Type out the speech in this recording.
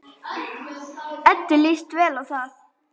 Eddu líst vel á þá.